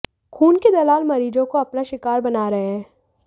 खून के दलाल मरीजों को अपना शिकार बना रहे हैं